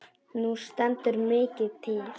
Nú stendur mikið til.